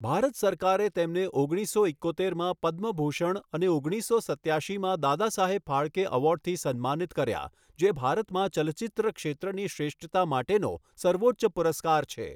ભારત સરકારે તેમને ઓગણીસસો ઇક્કોતેરમાં પદ્મ ભૂષણ અને ઓગણીસો સત્યાશીમાં દાદાસાહેબ ફાળકે એવોર્ડથી સન્માનિત કર્યા, જે ભારતમાં ચલચિત્ર ક્ષેત્રની શ્રેષ્ઠતા માટેનો સર્વોચ્ચ પુરસ્કાર છે.